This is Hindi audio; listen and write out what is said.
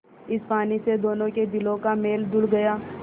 इस पानी से दोनों के दिलों का मैल धुल गया